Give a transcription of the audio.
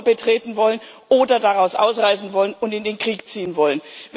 Europa betreten wollen oder daraus ausreisen wollen und in den Krieg ziehen wollen.